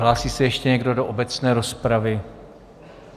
Hlásí se ještě někdo do obecné rozpravy?